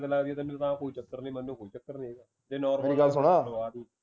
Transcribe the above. ਕੋਈ ਚੱਕਰ ਨੀ ਮੈਨੂੰ ਕੋਈਂ ਚੱਕਰ ਨੀ